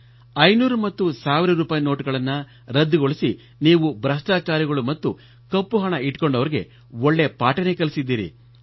500 ಮತ್ತು 1 ಸಾವಿರ ರೂಪಾಯಿ ನೋಟುಗಳನ್ನು ರದ್ದುಗೊಳಿಸಿ ನೀವು ಭೃಷ್ಟಾಚಾರಿಗಳು ಮತ್ತು ಕಪ್ಪು ಹಣ ಇಟ್ಟುಕೊಂಡವರಿಗೆ ಒಳ್ಳೇ ಪಾಠ ಕಲಿಸಿದ್ದೀರಿ